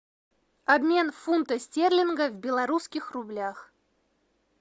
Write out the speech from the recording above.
обмен фунта стерлинга в белорусских рублях